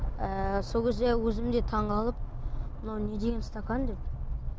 ыыы сол кезде өзім де таңғалып мынау не деген стакан деп